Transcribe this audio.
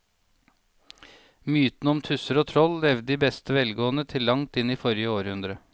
Mytene om tusser og troll levde i beste velgående til langt inn i forrige århundre.